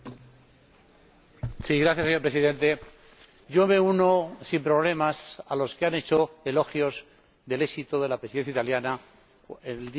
Señor Presidente, yo me uno sin problemas a los que han hecho elogios del éxito de la Presidencia italiana el día que rinde cuentas de su mandato.